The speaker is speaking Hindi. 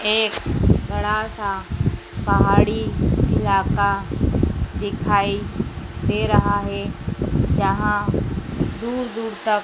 एक बड़ा सा पहाड़ी इलाका दिखाई दे रहा है जहां दूर दूर तक--